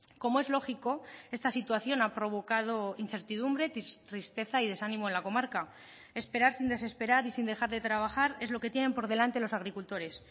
como es lógico esta situación ha provocado incertidumbre tristeza y desánimo en la comarca esperar sin desesperar y sin dejar de trabajar es lo que tienen por delante los agricultores